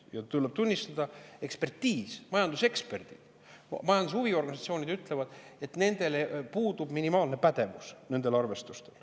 Ja tuleb tunnistada: ekspertiis, majanduseksperdid, majanduse huviorganisatsioonid ütlevad, et nendel arvestustel puudub minimaalne pädevus.